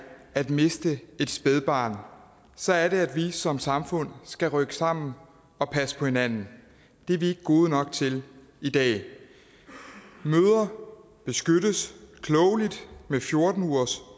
at miste et spædbarn så er det at vi som samfund skal rykke sammen og passe på hinanden det er vi ikke gode nok til i dag mødre beskyttes klogeligt med fjorten ugers